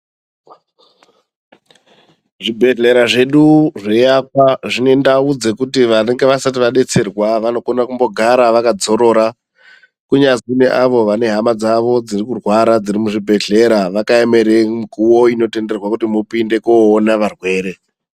Zvibhedhlera zvedu zveiakwa zvine ndau dzekuti vanenge vasati vadetserwa vanokone kumbogara vakadzorora, kunyazwi neavo vane hama dzavo dziri kurwara dziri muzvibhehlera vakaemera mukuwo inotenderwe kuti mupinde koona varwere.